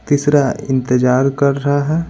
तीसरा इंतजार कर रहा है।